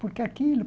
Por que aquilo?